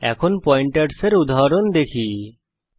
এখন পয়েন্টারসের একটি উদাহরণ দেখা যাক